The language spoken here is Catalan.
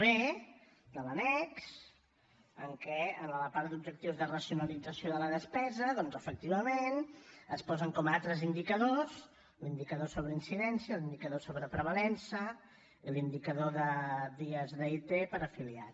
b de l’annex en què en la part d’objectius de racionalització de la despesa doncs efectivament es posen com a altres indicadors l’indicador sobre incidència l’indicador sobre prevalença l’indicador de dies d’it per afiliat